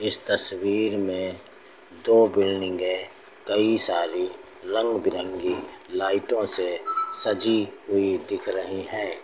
इस तस्वीर में दो बिल्डिंगे कई सारी रंग बिरंगी लाइटों से सजी हुई दिख रही हैं।